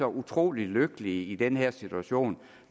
utrolig lykkelige i den her situation